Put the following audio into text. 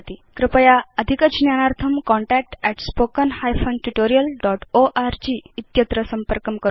कृपया अधिकज्ञानार्थं contactspoken hyphen tutorial dot org संपर्कं करोतु